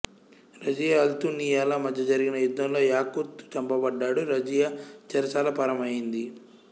రజియా అల్తూనియాల మధ్య జరిగిన యుద్ధంలో యాకూత్ చంపబడ్డాడు రజియా చెరసాల పరమయింది